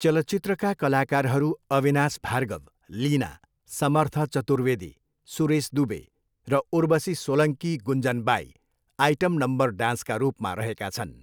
चलचित्रका कलाकारहरू अविनाश भार्गव, लिना, समर्थ चतुर्वेदी, सुरेश दुबे र उर्वशी सोलङ्की गुन्जन बाई, आइटम नम्बर, डान्सका रूपमा रहेका छन्।